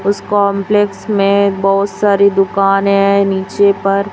उस कॉम्प्लेक्स में बहुत सारी दुकानें हैं नीचे पर।